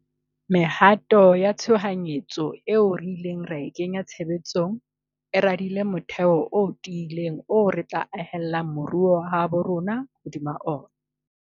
Mehato ya tshohanyetso eo re ileng ra e kenya tshebe tsong e radile motheo o ti ileng oo re tla ahella moruo wa habo rona hodima ona.